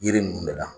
Yiri ninnu de la